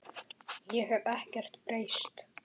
Ég hef ekkert breyst.